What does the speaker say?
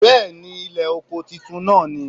Bẹ́ẹ̀ni Ilè oko titun náà ni